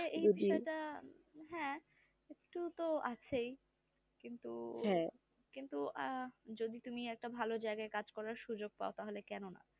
হ্যাঁ একটু তো আছেই কিন্তু কিন্তু যদি তুমি একটা ভালো জায়গায় কাজ করার সুযোগ পাও তাহলে কেন না